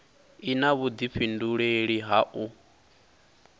i na vhudifhinduleli ha u